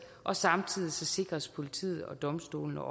og samtidig sikres politiet og domstolene